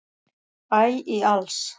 æ í alls